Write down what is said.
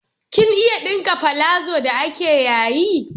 Kin iya ɗinka palazo da ake yayi?